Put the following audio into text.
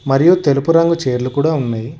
మరియు తెలుపు రంగు చీరలు కూడ ఉన్నాయి.